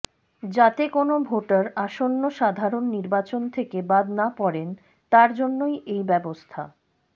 যাতে কোনও ভোটার আসন্ন সাধারণ নির্বাচন থেকে বাদ না পড়েন তার জন্যই এই ব্যবস্থা